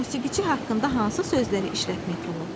Musiqiçi haqqında hansı sözləri işlətmək olar?